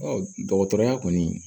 dɔgɔtɔrɔya kɔni